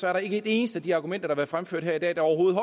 er der ikke et eneste af de argumenter der fremført her i dag der overhovedet